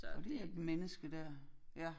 Og det et menneske der ja